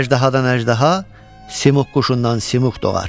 Əjdahadan əjdaha, Simoq quşundan Simoq doğar.